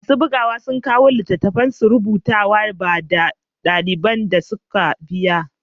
Masu bugawa sun kawo littattafan rubutu, ba da daliban da suka biya.